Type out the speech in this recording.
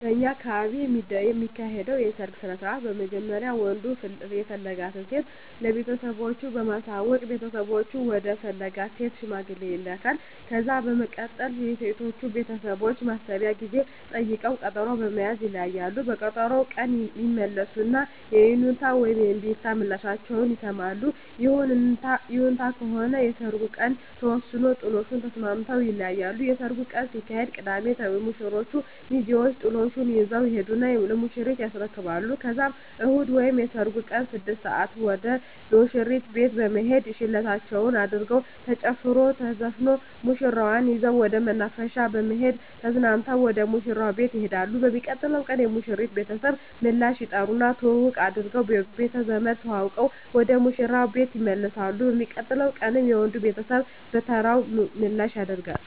በእኛ አካባቢ የሚካሄደዉ የሰርግ ስነስርአት በመጀመሪያ ወንዱ የፈለጋትን ሴት ለቤተሰቦቹ በማሳወቅ ቤተሰቦቹ ወደ ፈለጋት ሴት ሽማግሌ ይላካል። ከዛ በመቀጠል የሴቶቹ ቤተሰቦች የማሰቢያ ጊዜ ጠይቀዉ ቀጠሮ በመያዝ ይለያያሉ። በቀጠሮዉ ቀን ይመለሱና የይሁንታ ወይም የእምቢታ ምላሻቸዉን ይሰማሉ። ይሁንታ ከሆነ የሰርጉ ቀን ተወስኖ ጥሎሹን ተስማምተዉ ይለያያሉ። የሰርጉ ቀን ሲደርስ ቅዳሜ የሙሽሮቹ ሚዜወች ጥሎሹን ይዘዉ ይሄዱና ለሙሽሪት ያስረክባሉ ከዛም እሁድ ወይም የሰርጉ ቀን 6 ሰአት ወደ ሙሽሪት ቤት በመሄድ ሸለበታቸዉን አድርገዉ ተጨፍሮ ተዘፍኖ ሙሽራዋን ይዘዉ ወደ መናፈሻ በመሄድ ተዝናንተዉ ወደ ሙሽራዉ ቤት ይሄዳሉ። በሚቀጥለዉ ቀን የሙሽሪት ቤተሰብ ምላሽ ይጠሩና ትዉዉቅ አድርገዉ ቤተዘመድ ተዋዉቀዉ ወደ ሙሽራዉ ቤት ይመለሳሉ። በሚቀጥለዉ ቀንም የወንዱ ቤተሰብ በተራዉ ምላሽ ያደ